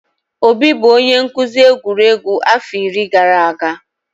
Obi bụ onye nkuzi egwuregwu afọ iri gara aga.